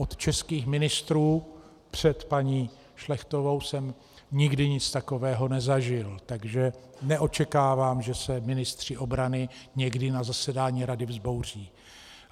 Od českých ministrů před paní Šlechtovou jsem nikdy nic takového nezažil, takže neočekávám, že se ministři obrany někdy na zasedání Rady vzbouří.